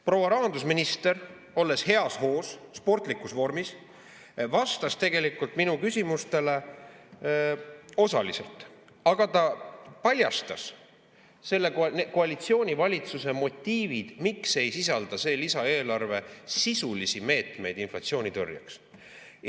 Proua rahandusminister, olles heas hoos, sportlikus vormis, vastas minu küsimustele osaliselt, aga ta paljastas selle valitsuskoalitsiooni motiivid, miks ei sisalda see lisaeelarve sisulisi meetmeid inflatsiooni tõrjeks.